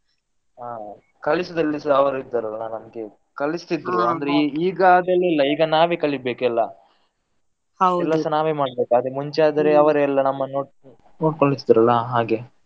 ಆ ಕಲಿಸುದ್ರಲ್ಲಿ ಸಾ ಅವರು ಇದ್ರಲ್ಲ ನಮ್ಗೆ ಕಲಿಸ್ತಿದ್ರು ಅಂದ್ರೆ ಈಗ ಅದೆಲ್ಲ ಇಲ್ಲ ಈಗ ನಾವೇ ಕಲಿಬೇಕು ಎಲ್ಲಾ ಎಲ್ಲಾಸ ನಾವೇ ಮಾಡ್ಬೇಕು ಆದ್ರೆ ಮುಂಚೆ ಆದ್ರೆ ಅವರೇ ನಮ್ಮನ್ನು ನೋಡಿಕೊಂಡು ಇರ್ತಿದ್ರಲ್ಲ ಹಾಗೆ.